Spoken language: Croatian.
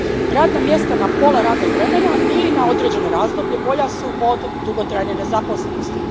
Radna mjesta na pola radnog vremena ili na određeno razdoblje bolja su od dugotrajne nezaposlenosti.